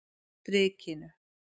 Strikinu